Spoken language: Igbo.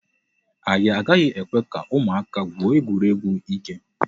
Anyị agaghị ekwe ka ụmụaka gwuo egwuregwu ike.